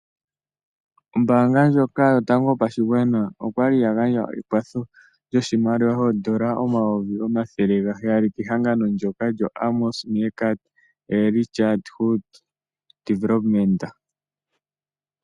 Ombanga ndjoka yotango yopashigwana okwali ya gandja ekwatho lyoshimaliwa odollar omayovi omathele gaheyali kehagano ndjoka lyoAmos Meerkat Early Childhood Development.